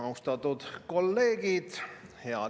Austatud kolleegid!